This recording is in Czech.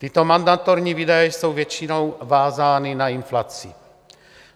Tyto mandatorní výdaje jsou většinou vázány na inflaci.